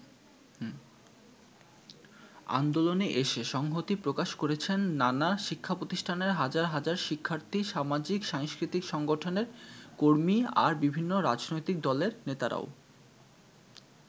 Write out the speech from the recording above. আন্দোলনে এসে সংহতি প্রকাশ করেছেন নানা শিক্ষাপ্রতিষ্ঠানের হাজার হাজার শিক্ষার্থী, সামাজিক-সাংস্কৃতিক সংগঠনের কর্মী, আর বিভিন্ন রাজনৈতিক দলের নেতারাও।